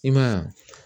I ma ye wa